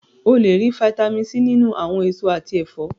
O lè rí Fitami C nínú àwọn èso àti ẹ̀fọ́.